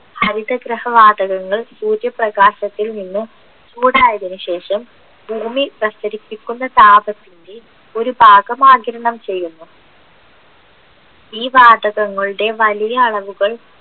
ഹരിത ഗൃഹവാതകങ്ങൾ സൂര്യപ്രകാശത്തിൽ നിന്നും ചൂടായതിനുശേഷം ഭൂമി പ്രസരിപ്പിക്കുന്ന താപത്തിൻ്റെ ഒരു ഭാഗം ആകിരണം ചെയ്യുന്നു ഈ വാതകങ്ങളുടെ വലിയ അളവുകൾ